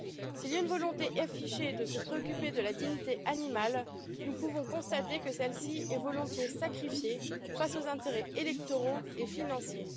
S'il y a une volonté affichée de se préoccuper de la dignité animale, nous pouvons constater que celle ci est volontiers sacrifiée face aux intérêts électoraux et financiers.